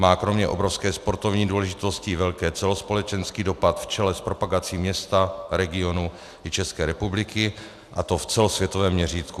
Má kromě obrovské sportovní důležitosti velký celospolečenský dopad v čele s propagací města, regionu i České republiky, a to v celosvětovém měřítku.